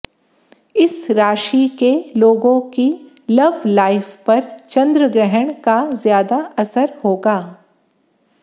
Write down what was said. इस राशि के लोगों की लव लाइफ पर चंद्रग्रहण का ज्यादा असर होगा